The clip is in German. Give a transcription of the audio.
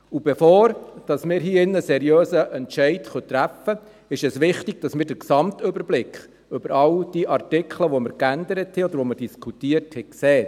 Bevor wir hier drin einen seriösen Entscheid treffen können, ist es wichtig, dass wir einen Gesamtüberblick über all diese Artikel, die wir geändert oder diskutiert haben, haben.